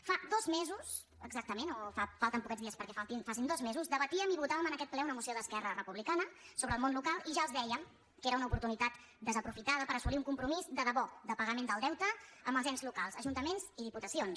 fa dos mesos exactament o falten poquets dies perquè faci dos mesos debatíem i votàvem en aquest ple una moció d’esquerra repu·blicana sobre el món local i ja els dèiem que era una oportunitat desaprofitada per assolir un compromís de debò de pagament del deute als ens locals ajunta·ments i diputacions